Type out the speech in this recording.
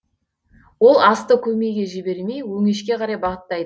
ол асты көмейге жібермей өңешке қарай бағыттайды